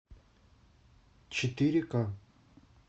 четыре ка